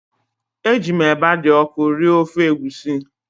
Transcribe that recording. Eji m eba dị ọkụ rie ofe egusi